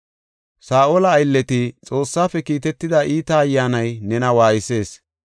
Saa7ola aylleti, “Xoossaafe kiitetida iita ayyaanay nena waaysees.